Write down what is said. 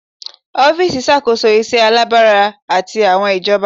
Ọfiisi ṣakoso iṣẹ alabara ati awọn ijabọ